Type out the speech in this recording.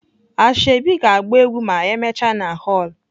Asoebi ga agba egwu ma emechaa na hoolụ.